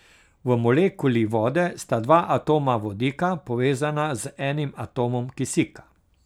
V molekuli vode sta dva atoma vodika povezana z enim atomom kisika.